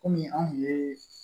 Kɔmi anw ye